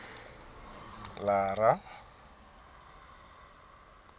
lara